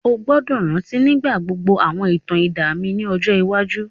O gbọ́dọ̀ rántí nígbà gbogbo àwọn ìtàn idán mi ni ọjọ iwájú.